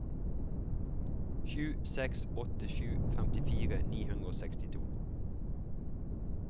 sju seks åtte sju femtifire ni hundre og sekstito